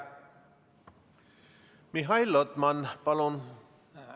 Mihhail Lotman, palun!